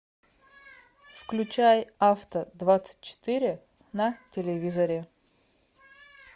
включай авто двадцать четыре на телевизоре